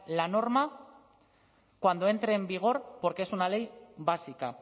la norma cuando entre en vigor porque es una ley básica